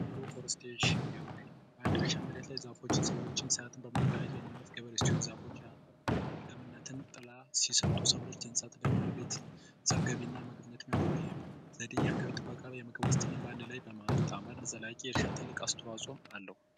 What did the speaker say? የአግሮ ፎረስቴሽን ገበሬ በአንድ እርሻ መሬት ላይ ሰብሎችን እና እንስሳትን በማርባት የሚያመርት ገበሬ ሲሆን እፅዋቶች ጥላ ሲሰጡ ደግሞ እንስሳቶች ለቤት የአገልግሎት ይውላሉ ይህም የአካባቢ ጥበቃ በማጣመር ለዘላቂ እርሻ አስተዋጽኦ አለው።